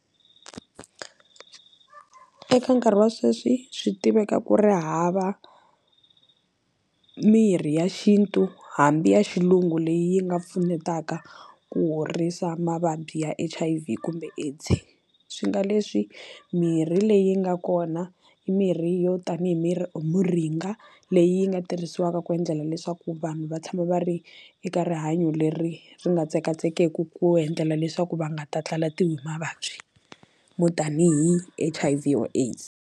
Eka nkarhi wa sweswi swi tiveka ku ri hava mirhi ya xintu hambi ya xilungu leyi nga pfunetaka ku horisa mavabyi ya H_I_V kumbe AIDS swi nga leswi mirhi leyi nga kona mirhi i yo tanihi mirhi moringa leyi nga tirhisiwaka ku endlela leswaku vanhu va tshama va ri eka rihanyo leri ri nga tsekatsekeku ku endlela leswaku va nga ta tlatlalatiwi hi mavabyi mo tanihi H_I_V or AIDS.